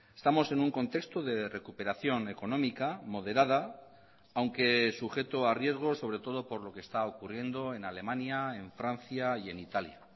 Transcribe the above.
estamos en un contexto de recuperación económica moderada aunque sujeto a riesgo sobre todo por lo que está ocurriendo en alemania en francia y en italia